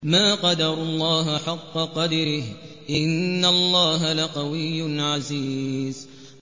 مَا قَدَرُوا اللَّهَ حَقَّ قَدْرِهِ ۗ إِنَّ اللَّهَ لَقَوِيٌّ عَزِيزٌ